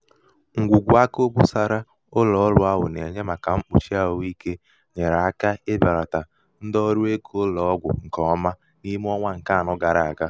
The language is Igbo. ṅgwùgwù aka obosara ụlọ̀ọrụ̄ ahụ̀ nà-ènye màkà mkpùchi àhụikē nyèèrè aka ibèlàtàrà ndị ọrụ ego ụlọ̀ọgwụ ṅkè ọma n’ime ọnwa ṅ̀ke anọ gara àga.